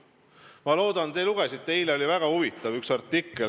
Ma loodan, te lugesite eile üht väga huvitavat artiklit.